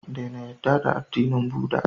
Dena yarda da addinin buda